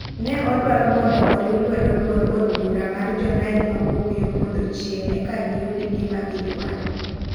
Ne odwaro mondo oriw luedo duond od bura mar jo nile mawuok yoo podho chieng ek giyud gima gidwaro.